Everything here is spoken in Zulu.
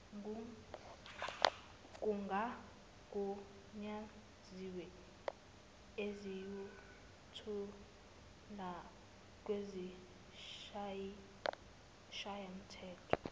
kungagunyaziwe esiyothulwa kwisishayamthetho